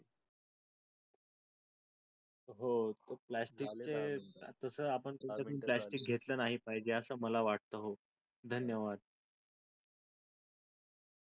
हो प्लॅस्टिक चे तस आपण प्लॅस्टिक घेतल नाही पाहिजे आस मला वाटत हो धन्यवाद